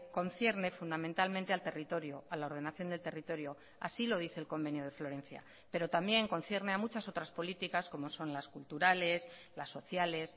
concierne fundamentalmente al territorio a la ordenación del territorio así lo dice el convenio de florencia pero también concierne a muchas otras políticas como son las culturales las sociales